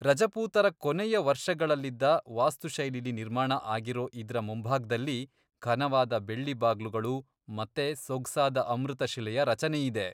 ರಜಪೂತರ ಕೊನೆಯ ವರ್ಷಗಳಲ್ಲಿದ್ದ ವಾಸ್ತುಶೈಲಿಲಿ ನಿರ್ಮಾಣ ಆಗಿರೋ ಇದ್ರ ಮುಂಭಾಗ್ದಲ್ಲಿ ಘನವಾದ ಬೆಳ್ಳಿ ಬಾಗ್ಲುಗಳು ಮತ್ತೆ ಸೊಗ್ಸಾದ ಅಮೃತಶಿಲೆಯ ರಚನೆಯಿದೆ.